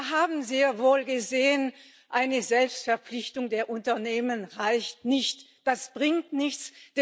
Wir haben sehr wohl gesehen Eine Selbstverpflichtung der Unternehmen reicht nicht, das bringt nichts.